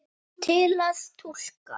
Til að túlka